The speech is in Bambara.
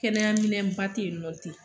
Kɛnɛyaminɛnba te yen nɔ ten